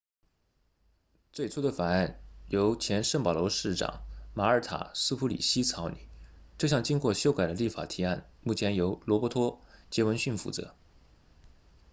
最初的法案由前圣保罗市长玛尔塔苏普里希草拟这项经过修改的立法提案目前由罗伯托杰斐逊负责